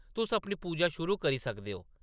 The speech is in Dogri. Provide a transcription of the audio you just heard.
तुस अपनी पूजा शुरू करी सकदे ओ ।